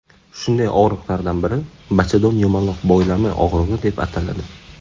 Shunday og‘riqlardan biri bachadon yumaloq boylami og‘rig‘i deb ataladi.